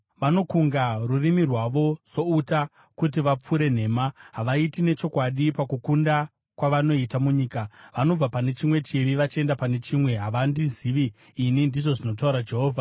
“Vanokunga rurimi rwavo souta, kuti vapfure nhema; havaiti nechokwadi pakukunda kwavanoita munyika. Vanobva pane chimwe chivi vachienda pane chimwe; havandizivi ini,” ndizvo zvinotaura Jehovha.